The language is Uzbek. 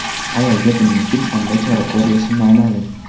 Ayolga buning uchun qanday chora ko‘rilishi noma’lum.